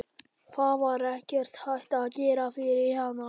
Það var ekkert hægt að gera fyrir hana.